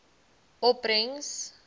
opbrengs